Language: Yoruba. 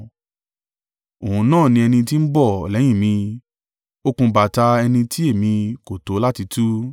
Òun náà ni ẹni tí ń bọ̀ lẹ́yìn mi, okùn bàtà ẹni tí èmi kò tó láti tú.”